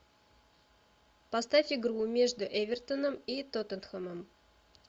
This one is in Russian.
поставь игру между эвертоном и тоттенхэмом